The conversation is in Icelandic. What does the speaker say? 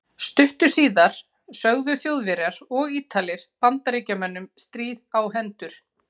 Stuttu síðar sögðu Þjóðverjar og Ítalir Bandaríkjamönnum stríð á hendur.